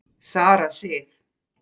Sara Sif.